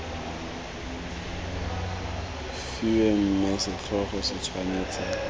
fiwe mme setlhogo se tshwanetse